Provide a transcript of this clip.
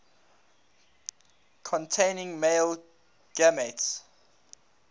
containing male gametes